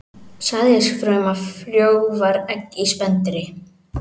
Sæðisfruma frjóvgar egg í spendýri.